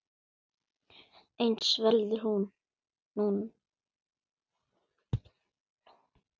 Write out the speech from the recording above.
Eins verður nú.